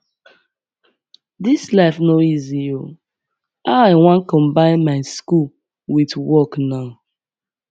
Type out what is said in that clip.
dis life no easy o how i wan combine my school with work now